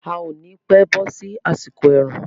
A ò ni pẹ́ bọ́ sí àsìkò ẹ̀rùn.